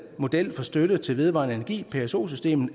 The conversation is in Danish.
model for støtte til vedvarende energi pso systemet